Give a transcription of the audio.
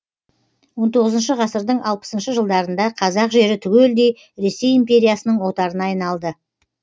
он тоғызыншы ғасырдың алпысыншы жылдарында қазақ жері түгелдей ресей империясының отарына айналды